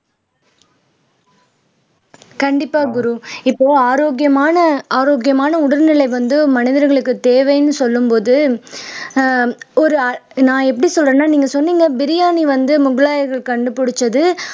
கண்டிப்பா குரு இப்போ ஆரோக்கியமான ஆரோக்கியமான உடல்நிலை வந்து மனிதர்களுக்கு தேவைன்னு சொல்லும் போது ஆஹ் ஒரு நான் எப்படி சொல்றேன்னா நீங்க சொன்னீங்க பிரியாணி வந்து முகலாயர்கள் கண்டுபிடிச்சது